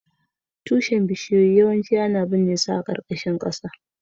Tushen bishiyoyi yawanci ana binne su a ƙarƙashin ƙasa